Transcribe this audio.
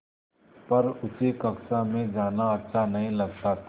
पर उसे कक्षा में जाना अच्छा नहीं लगता था